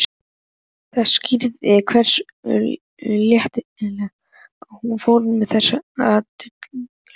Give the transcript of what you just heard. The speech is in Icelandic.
Það skýrði hversu léttilega hún fór með þessi duldu fræði.